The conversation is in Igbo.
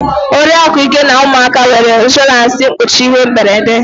Oriakụ Ike na ụmụaka nwere ịnshọransị mkpuchi ihe mberede